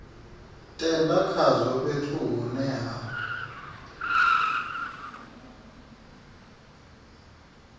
tenda khazwo fhethu hune ha